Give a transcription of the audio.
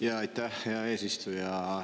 Jaa, aitäh, hea eesistuja!